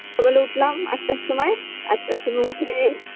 সকালে উঠলাম আটটার সময় আটটার সময় উঠে